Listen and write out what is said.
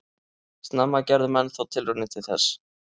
Snemma gerðu menn þó tilraunir til þess.